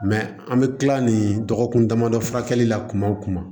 an bɛ kila nin dɔgɔkun damadɔ furakɛli la kuma o kuma